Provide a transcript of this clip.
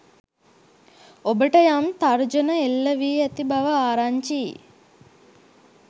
ඔබට යම් තර්ජන එල්ල වී ඇති බව ආරංචියි.